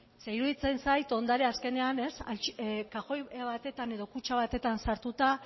ze iruditzen zait ondare azkenean kaxoi batetan edo kutxa batetan sartuta